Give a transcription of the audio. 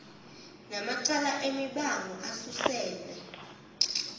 namacala emibango asuselwa